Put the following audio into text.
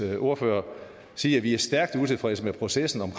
ordfører sige at vi er stærkt utilfredse med processen